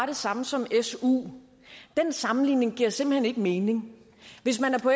det samme som su den sammenligning giver simpelt hen ikke mening hvis man er på